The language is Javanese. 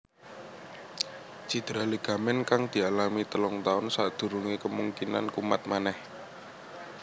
Cedera ligamen kang dialami telung taun sakdurungé kemungkinan kumat manèh